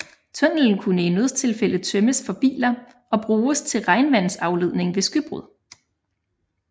Tunnelen kunne i nødstilfælde tømmes for biler og bruges til regnvandsafledning ved skybrud